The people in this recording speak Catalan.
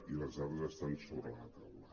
i les dades estan sobre la taula